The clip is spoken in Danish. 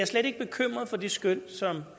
slet ikke bekymret for det skøn som